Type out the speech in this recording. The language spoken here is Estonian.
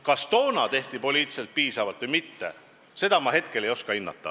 Kas toona tehti poliitiliselt piisavalt või mitte, seda ma hetkel ei oska hinnata.